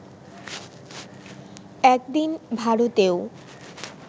একদিন ভারতেও